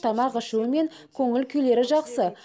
тамақ ішуі мен көңіл күйлері жақсы